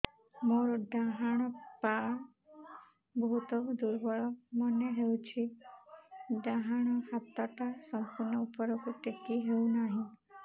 ମୋର ଡାହାଣ ପାଖ ବହୁତ ଦୁର୍ବଳ ମନେ ହେଉଛି ଡାହାଣ ହାତଟା ସମ୍ପୂର୍ଣ ଉପରକୁ ଟେକି ହେଉନାହିଁ